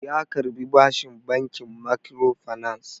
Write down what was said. Ya karbi bashin bankin makkiro fanas